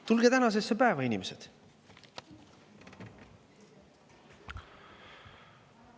Tulge tänasesse päeva, inimesed!